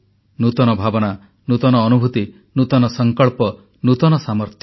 ନୂତନ ଭାବନା ନୂଆ ଅନୁଭୂତି ନୂତନ ସଂକଳ୍ପ ନୂତନ ସାମର୍ଥ୍ୟ